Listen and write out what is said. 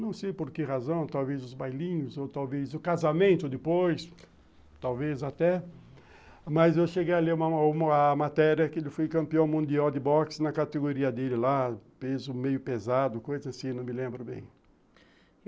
Não sei por que razão, talvez os bailinhos, ou talvez o casamento depois, talvez até, mas eu cheguei a ler uma matéria que ele foi campeão mundial de boxe na categoria dele lá, peso meio pesado, coisa assim, não me lembro bem.